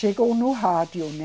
Chegou no rádio, né?